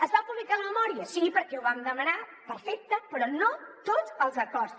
es va publicar la memòria sí perquè ho vam demanar perfecte però no tots els acords